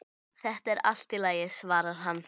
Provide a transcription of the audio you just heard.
Þetta er allt í lagi, svarar hann.